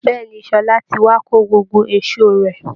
Bẹ́ẹ̀ ni Ṣọlá ti wá kó gbogbo èṣó rẹ̀